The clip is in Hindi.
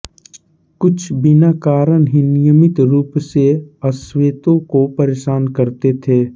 कुछ बिना कारण ही नियमित रूप से अश्वेतों को परेशान करते थे